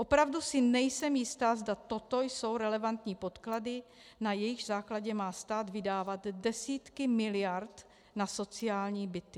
Opravdu si nejsem jistá, zda toto jsou relevantní podklady, na jejichž základě má stát vydávat desítky miliard na sociální byty.